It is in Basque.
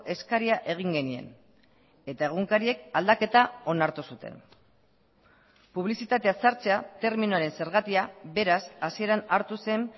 eskaria egin genien eta egunkariek aldaketa onartu zuten publizitatea sartzea terminoaren zergatia beraz hasieran hartu zen